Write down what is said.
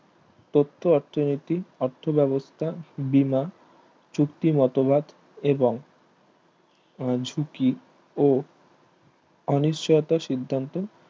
তত্ত্ব অর্থনীতি অর্থ বেবস্থা বীমা চুক্তির মতবাদ এবং ঝুঁকি ও অনিশ্চয়তা সিদ্ধান্ত